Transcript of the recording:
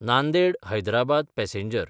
Nanded-Hyderabad passenger